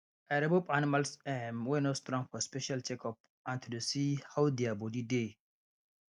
i remove animals um wey no strong for special checkup and to dey see how their body dey